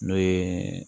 N'o ye